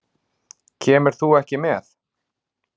Kemur þú ekki með?